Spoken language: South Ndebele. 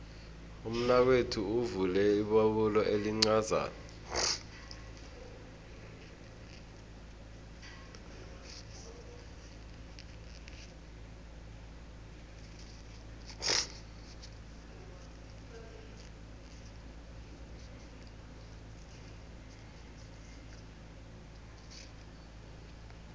umnakwethu uvule ibubulo elincazana